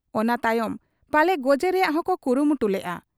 ᱚᱱᱟ ᱛᱟᱭᱚᱢ ᱯᱟᱞᱮ ᱜᱚᱡᱮ ᱨᱮᱭᱟᱝ ᱦᱚᱸᱠᱚ ᱠᱩᱨᱩᱢᱩᱴᱩ ᱞᱮᱜ ᱟ ᱾